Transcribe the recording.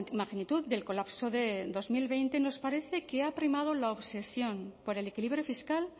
magnitud del colapso de dos mil veinte nos parece que ha primado la obsesión por el equilibrio fiscal